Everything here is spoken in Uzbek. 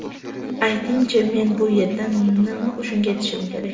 Ayting-chi, men bu yerdan nima uchun ketishim kerak?